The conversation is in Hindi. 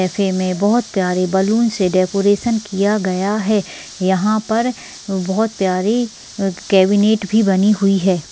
ऐसे में बहोत प्यारे बलूंस से डेकोरेशन किया गया है यहाँ पर बहोत प्यारी कैबिनेट भी बनी हुई है।